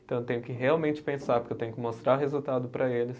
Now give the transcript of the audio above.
Então eu tenho que realmente pensar, porque eu tenho que mostrar resultado para eles.